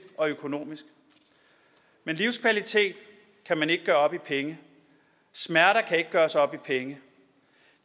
og økonomisk men livskvalitet kan man ikke gøre op i penge smerter kan ikke gøres op i penge